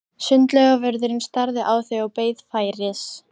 Sundlaugarvörðurinn starði á þau og beið færis.